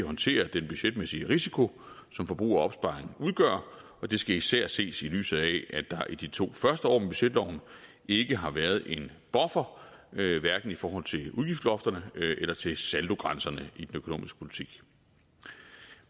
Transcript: håndtere den budgetmæssige risiko som forbrug af opsparing udgør og det skal især ses i lyset af at der i de to første år med budgetloven ikke har været en buffer hverken i forhold til udgiftsloftet eller til saldogrænserne i den økonomiske politik